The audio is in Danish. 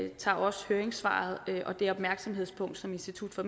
og tager også høringssvaret og det opmærksomhedspunkt som institut for